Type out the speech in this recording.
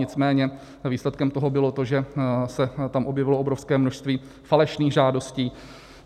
Nicméně výsledkem toho bylo to, že se tam objevilo obrovské množství falešných žádostí.